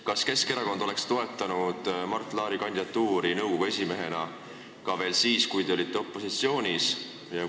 Kas Keskerakond oleks toetanud Mart Laari kandidatuuri nõukogu esimehena ka siis, kui te olite opositsioonis?